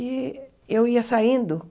E eu ia saindo.